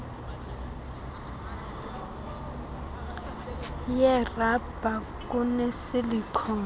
yerabha kune silicon